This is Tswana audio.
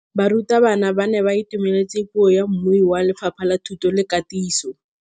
Barutabana ba ne ba itumeletse puô ya mmui wa Lefapha la Thuto le Katiso.